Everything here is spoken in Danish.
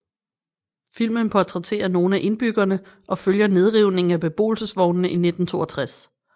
Filmen portrætterer nogle af indbyggerne og følger nedrivningen af beboelsesvognene i 1962